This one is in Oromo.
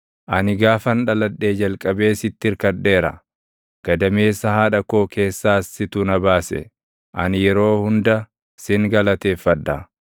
Ani gaafan dhaladhee jalqabee sitti irkadheera; gadameessa haadha koo keessaas situ na baase. Ani yeroo hunda sin galateeffadha.